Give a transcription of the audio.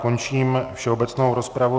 Končím všeobecnou rozpravu.